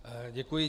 Děkuji.